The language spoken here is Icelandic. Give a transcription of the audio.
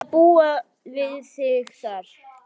Til að búa við þig þar.